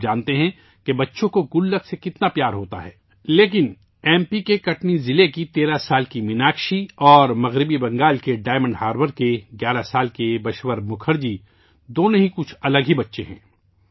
آپ جانتے ہیں کہ بچوں کو غلک سے کتنا پیار ہوتا ہے، لیکن ایم پی کے کٹنی ضلع کی 13 سال کی میناکشی اور مغربی بنگال کے ڈائمنڈ ہاربر کے 11 سال کے بشور مکھرجی دونوں ہی کچھ الگ قسم کے بچے ہیں